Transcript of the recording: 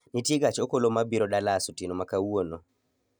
Nitie gach okolo mabiro Dallas otieno ma kawuono